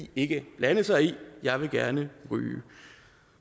ikke blande sig i jeg vil gerne ryge